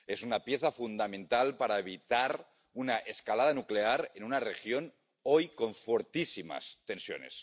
Es una pieza fundamental para evitar una escalada nuclear en una región hoy con fortísimas tensiones.